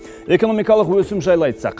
экономикалық өсім жайлы айтсақ